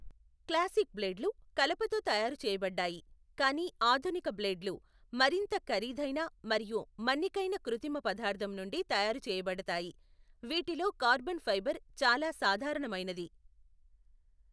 Classic బ్లేడ్లు కలపతో తయారు చేయబడ్డాయి, కానీ ఆధునిక బ్లేడ్లు మరింత ఖరీదైన మరియు మన్నికైన కృత్రిమ పదార్థం నుండి తయారు చేయబడతాయి, వీటిలో కార్బన్ ఫైబర్ చాలా సాధారణమైనది.